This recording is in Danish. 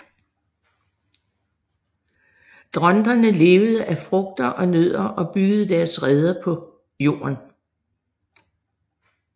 Dronterne levede af frugter og nødder og byggede deres reder på jorden